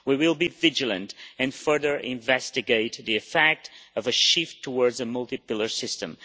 We will be vigilant and further investigate the effect of a shift towards a multi pillar system.